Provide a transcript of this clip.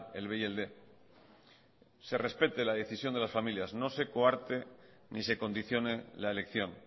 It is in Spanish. el b y el quinientos se respete la decisión de las familias no se coarte ni se condicione la elección